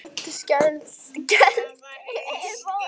Örn skellti upp úr.